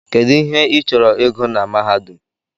Kedụ ihe I chọrọ ịgụ na mahadum?